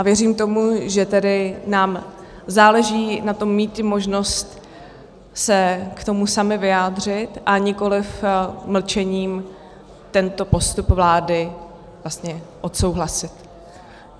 A věřím tomu, že tedy nám záleží na tom mít i možnost se k tomu sami vyjádřit, a nikoliv mlčením tento postup vlády vlastně odsouhlasit.